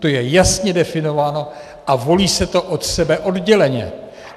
To je jasně definováno a volí se to od sebe odděleně.